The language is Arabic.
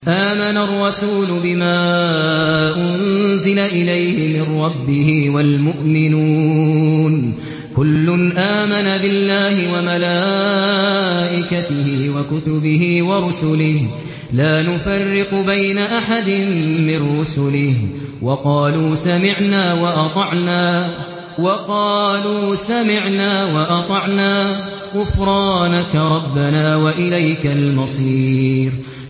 آمَنَ الرَّسُولُ بِمَا أُنزِلَ إِلَيْهِ مِن رَّبِّهِ وَالْمُؤْمِنُونَ ۚ كُلٌّ آمَنَ بِاللَّهِ وَمَلَائِكَتِهِ وَكُتُبِهِ وَرُسُلِهِ لَا نُفَرِّقُ بَيْنَ أَحَدٍ مِّن رُّسُلِهِ ۚ وَقَالُوا سَمِعْنَا وَأَطَعْنَا ۖ غُفْرَانَكَ رَبَّنَا وَإِلَيْكَ الْمَصِيرُ